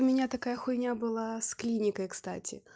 у меня такая хуйня была с клиникой кстати